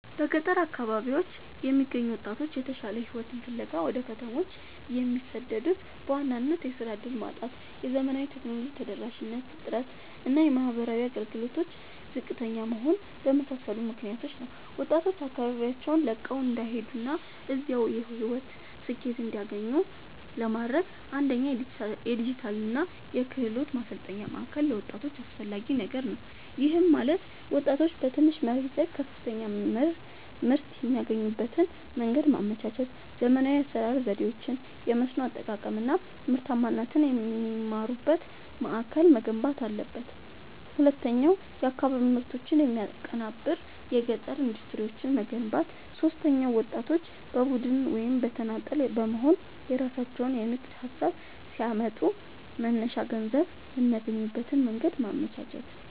በገጠር አካባቢዎች የሚገኙ ወጣቶች የተሻለ ሕይወትን ፍለጋ ወደ ከተሞች የሚሰደዱት በዋናነት የሥራ ዕድል ማጣት፣ የዘመናዊ ቴክኖሎጂ ተደራሽነት እጥረት እና የማኅበራዊ አገልግሎቶች ዝቅተኛ መሆን በመሳሰሉ ምክኒያቶች ነው። ወጣቶች አካባቢያቸውን ለቀው እንዳይሄዱና እዚያው የሕይወት ስኬትን እንዲያገኙ ለማድረግ፣ አንደኛ የዲጂታልና የክህሎት ማሠልጠኛ ማእከል ለወጣቶች አስፈላጊ ነገር ነው። ይህም ማለት ወጣቶች በትንሽ መሬት ላይ ከፍተኛ ምርት የሚያገኙበትን መንገድ ማመቻቸት፣ ዘመናዊ የአሠራር ዘዴዎችን፣ የመስኖ አጠቃቀም አናምርታማነትን የሚማሩበት ማእከል መገንባት አለበት። ሁለተኛው የአካባቢ ምርቶችን የሚያቀናብር የገጠር ኢንዱስትሪዎችን መገንባት። ሦስተኛው ወጣቶች በቡድን ወይም በተናጠል በመሆንየራሣቸውን የንግድ ሀሳብ ሲያመጡ መነሻ ገንዘብ የሚያገኙበትን መንገድ ማመቻቸት።